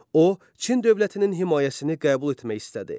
O, Çin dövlətinin himayəsini qəbul etmək istədi.